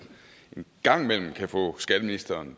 en gang imellem kan få skatteministeren